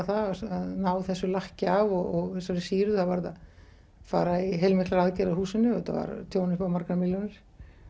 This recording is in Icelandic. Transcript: það að ná þessu lakki af og þessari sýru það varð að fara í heilmiklar aðgerðir á húsinu og þetta var tjón upp á margar milljónir